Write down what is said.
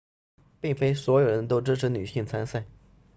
并非所有人都支持女性参赛